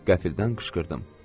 Qəfildən qışqırdım.